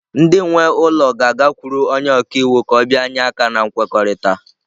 Ndị nwe ụlọ ga-agakwuru onye ọka iwu ka ọ bịanye aka na nkwekọrịta.